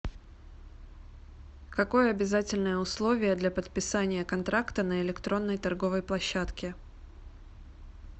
какое обязательное условие для подписания контракта на электронной торговой площадке